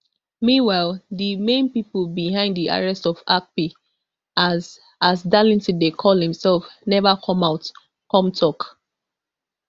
meanwhile di main pipo behind di arrest of akpi as as darlington dey call imsef neva come out come tok